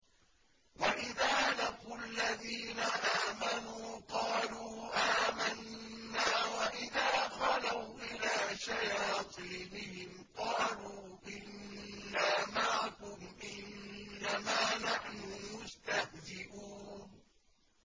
وَإِذَا لَقُوا الَّذِينَ آمَنُوا قَالُوا آمَنَّا وَإِذَا خَلَوْا إِلَىٰ شَيَاطِينِهِمْ قَالُوا إِنَّا مَعَكُمْ إِنَّمَا نَحْنُ مُسْتَهْزِئُونَ